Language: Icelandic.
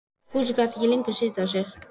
Fúsi gat ekki lengur setið á sér.